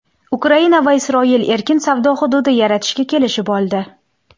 Ukraina va Isroil erkin savdo hududi yaratishga kelishib oldi.